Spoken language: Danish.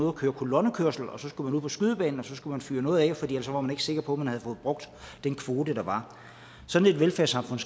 at køre kolonnekørsel og så skulle man ud på skydebanen og så skulle man fyre noget af for ellers var man ikke sikker på at man havde fået brugt den kvote der var sådan et velfærdssamfund